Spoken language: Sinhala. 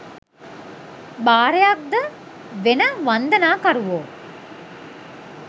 භාරයක්ද වෙන වන්දනාකරුවෝ